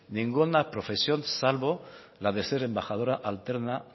ninguna profesión salvo la ser embajadora alterna